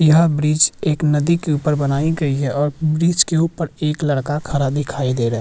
यह ब्रिज एक नदी के ऊपर बनायीं गयी है और ब्रिज के ऊपर एक लड़का खड़ा दिखाई दे रहा है।